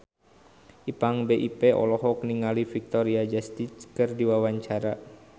Ipank BIP olohok ningali Victoria Justice keur diwawancara